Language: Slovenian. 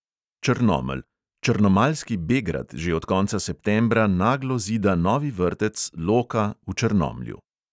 Črnomelj: črnomaljski begrad že od konca septembra naglo zida novi vrtec loka v črnomlju.